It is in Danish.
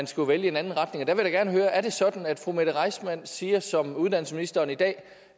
skulle vælge en anden retning der vil jeg gerne høre er sådan at fru mette reissmann siger som uddannelsesministeren i dag